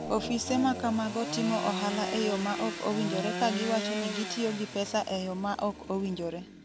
Ofise ma kamago timo ohala e yo ma ok owinjore ka giwacho ni gitiyo gi pesa e yo ma ok owinjore.